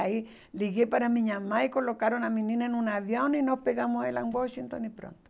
Aí liguei para minha mãe, colocaram a menina num avião e nós pegamos ela em Washington e pronto.